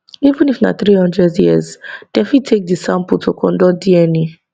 even if na 300 years dem fit take di sample to conduct dna